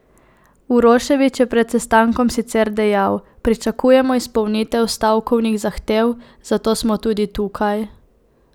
Uroševič je pred sestankom sicer dejal: "Pričakujemo izpolnitev stavkovnih zahtev, zato smo tudi tukaj.